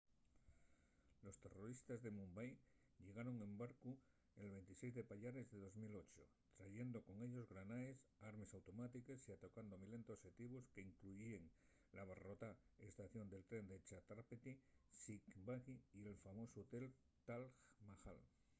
los terroristes de mumbai llegaron en barcu’l 26 de payares de 2008 trayendo con ellos granaes armes automátiques y atacando milenta oxetivos qu’incluyíen l’abarrotada estación de tren de chhatrapati shivaji y el famosu hotel taj mahal